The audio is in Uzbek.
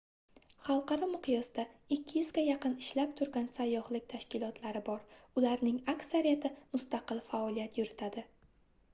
xalqaro miqyosda 200 ga yaqin ishlab turgan sayyohlik tashkilotlari bor ularning aksariyati mustaqil faoliyat yuritadi